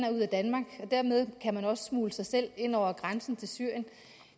og ud af danmark og dermed kan man også smugle sig selv ind over grænsen til syrien